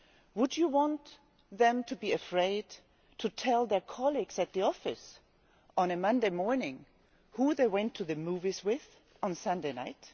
Would you want them to be afraid to tell their colleagues at the office on a Monday morning who they went to the movies with on Sunday night?